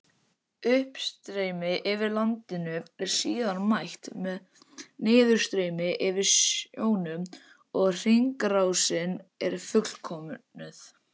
Uppstreymi yfir landinu er síðan mætt með niðurstreymi yfir sjónum og hringrásin er fullkomnuð.